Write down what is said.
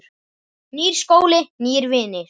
Nýr skóli, nýir vinir.